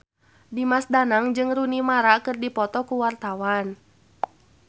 Dimas Danang jeung Rooney Mara keur dipoto ku wartawan